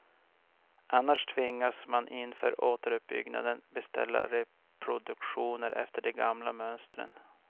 Annars tvingas man inför återuppbyggnaden beställa reproduktioner efter de gamla mönstren.